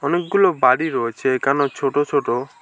অনেকগুলো বাড়ি রয়েছে এখানেও ছোট ছোট।